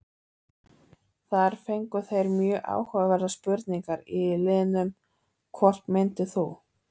Þar fengu þeir mjög áhugaverðar spurningar í liðnum: Hvort myndir þú?